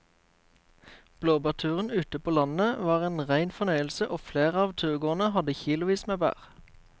Blåbærturen ute på landet var en rein fornøyelse og flere av turgåerene hadde kilosvis med bær.